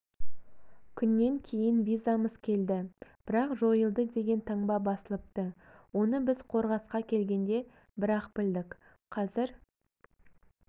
күннен кейін визамыз келді бірақ жойылды деген таңба басылыпты оны біз қорғасқа келгенде бірақ білдік қазір